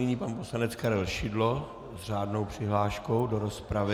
Nyní pan poslanec Karel Šidlo s řádnou přihláškou do rozpravy.